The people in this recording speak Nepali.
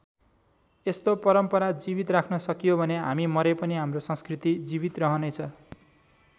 यस्तो परम्परा जीवित राख्न सकियो भने हामी मरे पनि हाम्रो संस्कृति जीवित रहनेछ।